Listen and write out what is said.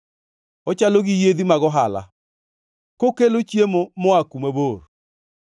Ochalo gi yiedhi mag ohala, kokelo chiemo moa kuma bor.